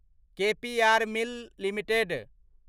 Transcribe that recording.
KPR mill limited